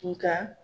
Nga